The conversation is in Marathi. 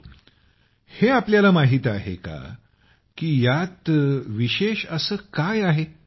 परंतु हे आपल्यला माहीत आहे का की यात इतकं विशेष असं काय आहे